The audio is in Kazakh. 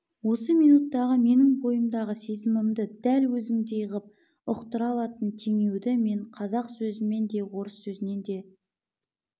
осы минуттағы менің бойымдағы сезімімді дәл өзіңдей ғып ұқтыра алатын теңеуді мен қазақ сөзінен де орыс сөзінен де